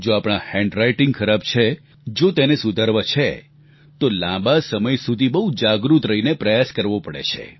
જો આપણા અક્ષર ખરાબ છે જો તેને સુધારવા છે તો લાંબા સમય સુધી બહુ જાગૃત રહીને પ્રયાસ કરવો પડે છે